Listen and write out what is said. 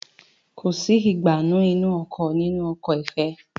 Kọ sí Ìgbánú inú ọkọ̀ nínú ọkọ̀ ifẹ